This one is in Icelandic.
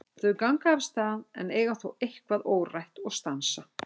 Þau ganga af stað en eiga þó eitthvað órætt og stansa.